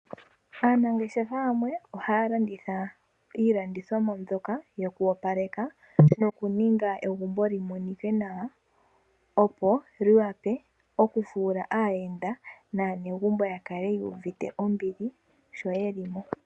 Aanangeshefa yamwe ohaya landitha iilandithomwa mbyoka yoku opaleka noku ninga egumbo li monike nawa. Opo li vule okufuula aayenda naanegumbo ya kale yu uvite ombili sho yeli mo.